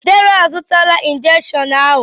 Deraa a zụtala injekshiọn ahụ.